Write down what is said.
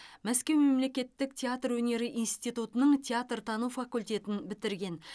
мәскеу мемлекеттік театр өнері институтының театртану факультетін бітірген